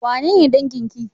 Wanene dangin ki?